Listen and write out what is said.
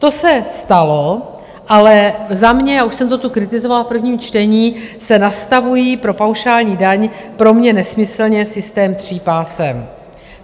To se stalo, ale za mě - já už jsem to tu kritizovala v prvním čtení - se nastavuje pro paušální daň pro mě nesmyslně systém tří pásem.